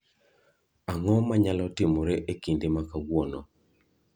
Ang’o ma nyalo timore e kinde ma kawuono?